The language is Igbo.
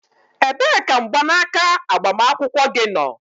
Ebee ka mgbanaka agbamakwụkwọ gị nọ?